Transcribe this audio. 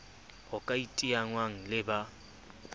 ho ka iteangwang le ba